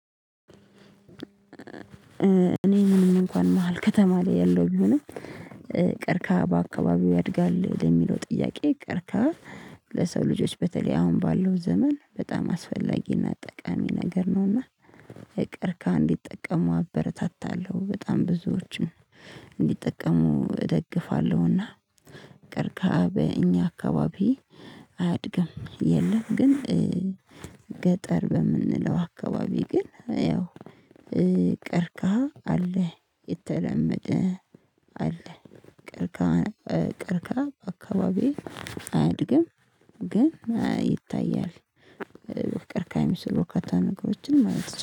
እኔ ምንም እንኳን መሃል ከተማ ላይ ያለው ቢሆንም ቀርቅሃ በአካባቢዎ ያድጋል? ለሚለው ጥያቄ ቀርቅሃ ለሰው ልጆች በተለይ አሁን ባለው ዘመን በጣም አስፈላጊና ጠቃሚ ነገር ነውና ቀርቅሃን እንዲጠቀሙ አበረታታለሁ በጣም ብዙዎችን እንዲጠቀሙ እደግፋለሁና ቀርቅሃ በእኛ አካባቢ አያድግም የለም ግን ገጠር በምንለው አካባቢ ግን ያው ቀርቅሃ አለ የተለመደ አለ ቀርቅሃ ቀርቅሃ አካባቢ አያድግም ግን ይታያል ቀርቅሃ ካሚስ በርካታ ነገሮችን ማለት ነው